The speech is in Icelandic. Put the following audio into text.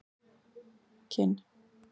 Kinn